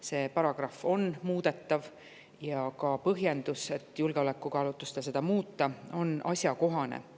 See paragrahv on muudetav ja ka põhjendus, et seda tuleks muuta julgeolekukaalutlustel, on asjakohane.